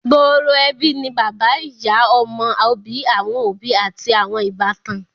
gbooro ẹbí ni bàbá ìyá, ọmọ, òbí awọn òbí ati awọn ìbátan.